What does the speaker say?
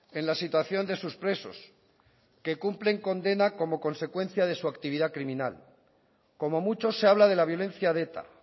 en la situación de sus presos que cumplen condena como consecuencia de su actividad criminal como mucho se habla de la violencia de eta